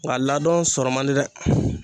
Nka ladon sɔrɔ man di dɛ.